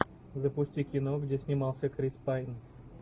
запусти кино где снимался крис пайн